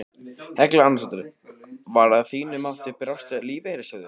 Helga Arnardóttir: Hvar að þínu mati brást lífeyrissjóðurinn?